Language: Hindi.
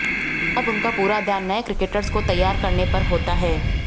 अब उनका पूरा ध्यान नए क्रिकेटर्स को तैयार करने पर होता है